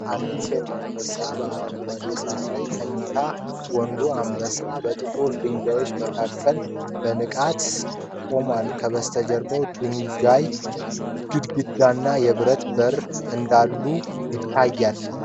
አንዲት ሴት አንበሳ በአረንጓዴ ሣር ላይ ተኝታ፣ ወንዱ አንበሳ በጥቁር ድንጋዮች መካከል በንቃት ቆሟል። ከበስተጀርባ የድንጋይ ግድግዳና የብረት በር አሉ።